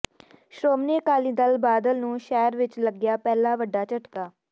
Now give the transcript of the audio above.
ਸ਼੍ਰੋਮਣੀ ਅਕਾਲੀ ਦਲ ਬਾਦਲ ਨੂੰ ਸ਼ਹਿਰ ਵਿਚ ਲੱਗਿਆ ਪਹਿਲਾ ਵੱਡਾ ਝਟਕਾ